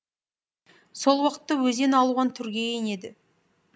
сол уақытта өзен алуан түрге енеді